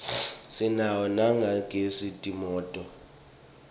sinawo nalatsengisa timoto